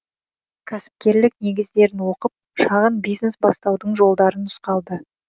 кәсіпкерлік негіздерін оқып шағын бизнес бастаудың жолдары нұсқалды